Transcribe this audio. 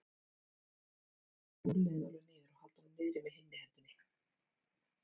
Til dæmis beygja úlnliðinn alveg niður og halda honum niðri með hinni hendinni.